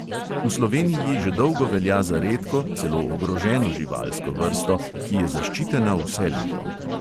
V sloveniji že dolgo velja za redko, celo ogroženo živalsko vrsto, ki je zaščitena vse leto.